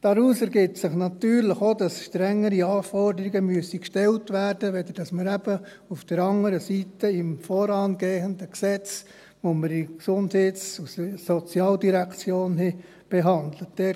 Daraus ergibt sich natürlich auch, dass auf der anderen Seite strengere Anforderungen gestellt werden müssen, als jene im vorangehenden Gesetz, nach welchen die Gesundheits-, Sozial- und Integrationsdirektion (GSI) behandelt hat.